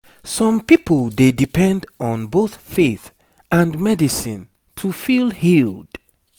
some people dey depend on both faith and medicine to feel healed